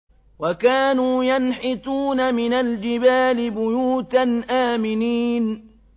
وَكَانُوا يَنْحِتُونَ مِنَ الْجِبَالِ بُيُوتًا آمِنِينَ